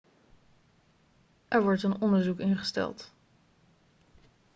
er wordt een onderzoek ingesteld